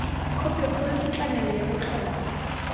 khopikgolo ke tlamelo ya botlhokwa